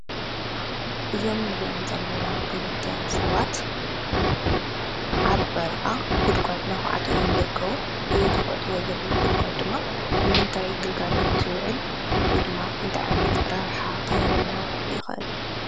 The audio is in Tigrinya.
እዞም ንሪኦም ዘለና ክልተ ሰባት ኣብ በረኻ ጉድጓድ እናኳዓቱ እዮም ዝርከቡ እዚ ዝኹዕታዎ ዘለዉ ጉድጓድ ድማ ንምንታይ ግልጋሎት ይውዕል ወይ ድማ እንታይ ዓይነት ረብሓ ክህበና ይኽእል?